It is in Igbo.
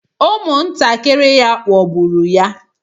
Ụmụntakịrị ya ghọgburu ya.